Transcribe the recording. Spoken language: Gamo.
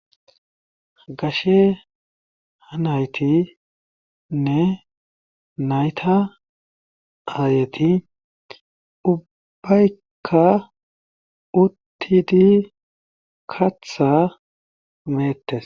Gashe naytinne nayta aayeti ubbaykka uttidi kaththaa meettes